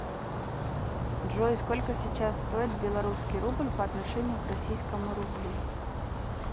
джой сколько сейчас стоит белорусский рубль по отношению к российскому рублю